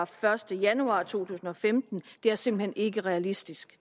første januar to tusind og femten og det er simpelt hen ikke realistisk